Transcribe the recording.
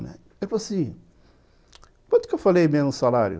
Né, ele falou assim, quanto que eu falei mesmo o salário?